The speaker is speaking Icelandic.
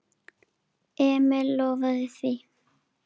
Emil lofaði því.